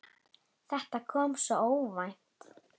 Þetta kom svo óvænt.